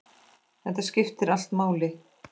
Þetta skiptir allt máli.